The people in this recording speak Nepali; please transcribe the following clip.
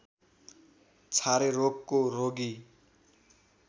छारे रोगको रोगी